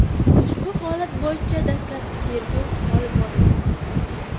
Ushbu holat bo‘yicha dastlabki tergov olib borilmoqda.